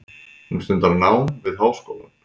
Hún stundar nám við háskólann.